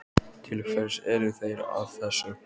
Til hvers eru þeir að þessu?